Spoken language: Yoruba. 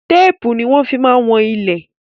Téépù ni wọn fi máa ń wọn ilẹ̀